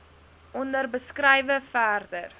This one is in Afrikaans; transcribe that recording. onder beskrywe verder